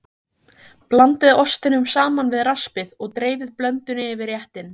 Blandið ostinum saman við raspið og dreifið blöndunni yfir réttinn.